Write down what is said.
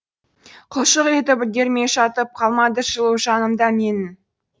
құлшылық етіп үлгермей жатып қалмады жылу жанымда менің